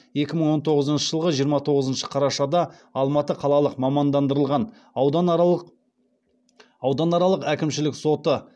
екі мың он тоғызыншы жылғы жиырма тоғызыншы қарашада алматы қалалық мамандандырылған ауданаралық әкімшілік соты